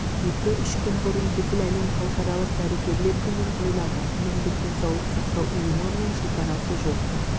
екі-үш күн бұрын бүкіл әлем халықаралық дәрігерлер күнін тойлады әлемдік денсаулық сақтау ұйымы мен шекарасы жоқ